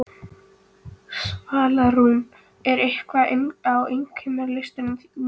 Svalrún, hvað er á innkaupalistanum mínum?